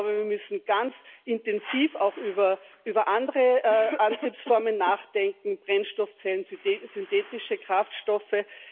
Ich glaube, wir müssen ganz intensiv auch über andere Antriebsformen nachdenken, Brennstoffzellen, synthetische Kraftstoffe.